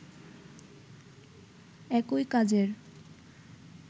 একই কাজের